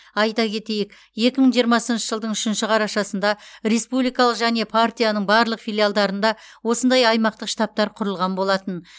айта кетейік екі мың жиырмасыншы жылдың үшінші қарашасында республикалық және партияның барлық филиалдарында осындай аймақтық штабтар құрылған болатын